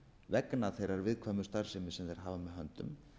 vegna þeirrar viðkvæmu starfsemi sem þeir hafa með höndum